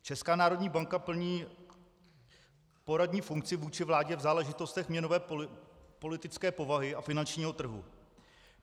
Česká národní banka plní poradní funkci vůči vládě v záležitostech měnové politické povahy a finančního trhu.